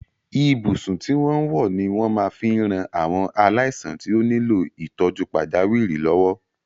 Ibùsùn tí wọ́n ń wọ́ ni wọ́n máa fi ran àwọn aláìsàn tí ó nílò ìtọ́jú pàjáwìrì lọ́wọ́.